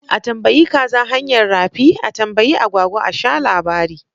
A tambayi kaza hanyar rafi? A tambayi agwagwa a sha labari